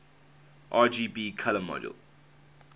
rgb color model